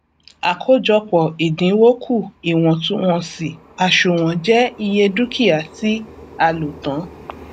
àkójọpọ ìdinwó kù iwọntúnwọnsì àsùnwọn je iye dúkìá tí a lò tán